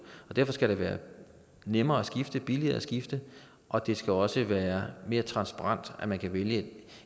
og derfor skal det være nemmere at skifte billigere at skifte og det skal også være mere transparent at man kan vælge